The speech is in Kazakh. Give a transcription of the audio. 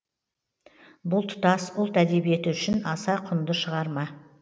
бұл тұтас ұлт әдебиеті үшін аса құнды шығарма